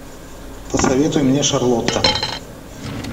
посоветуй мне шарлотта